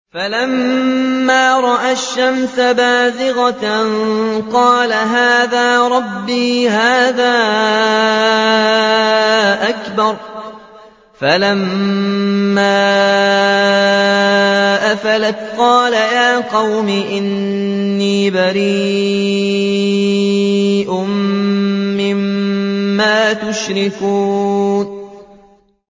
فَلَمَّا رَأَى الشَّمْسَ بَازِغَةً قَالَ هَٰذَا رَبِّي هَٰذَا أَكْبَرُ ۖ فَلَمَّا أَفَلَتْ قَالَ يَا قَوْمِ إِنِّي بَرِيءٌ مِّمَّا تُشْرِكُونَ